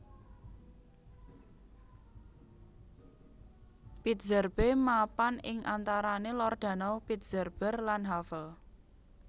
Pritzerbe mapan ing antarane lor danau Pritzerber lan Havel